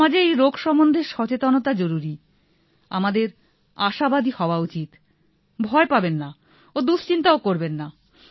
সমাজে এই রোগ সম্বন্ধে সচেতনতা জরুরী আমাদের আশাবাদী হওয়া উচিতভয় পাবেন না ও দুশিন্তা করবেন না